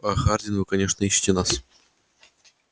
аа хардин ну конечно ищите нас